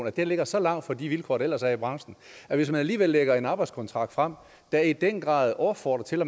at det ligger så langt fra de vilkår der ellers er i branchen at hvis man alligevel lægger en arbejdskontrakt frem der i den grad opfordrer til at